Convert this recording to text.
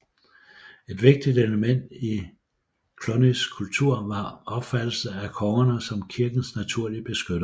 Et vigtigt element i Clunys kultur var opfattelsen af kongerne som kirkens naturlige beskyttere